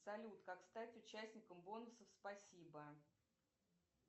салют как стать участником бонусов спасибо